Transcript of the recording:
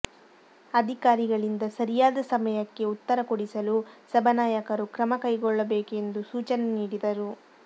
ಅಧಿಕಾರಿಗಳಿಂದ ಸರಿಯಾದ ಸಮಯಕ್ಕೆ ಉತ್ತರ ಕೊಡಿಸಲು ಸಭಾ ನಾಯಕರು ಕ್ರಮ ಕೈಗೊಳ್ಳಬೇಕು ಎಂದು ಸೂಚನೆ ನೀಡಿದರು